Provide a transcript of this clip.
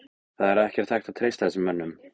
Það er ekkert hægt að treysta þessum mönnum.